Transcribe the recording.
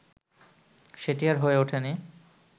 সেটি আর হয়ে ওঠেনি